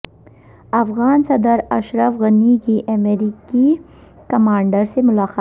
افغان صدر اشرف غنی کی امریکی کمانڈر سے ملاقات